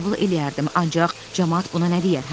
Qəbul eləyərdim, ancaq camaat buna nə deyər, hə?